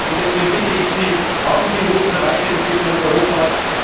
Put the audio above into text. Deswegen bitte ich Sie Haben Sie Mut zur Weiterentwicklung Europas!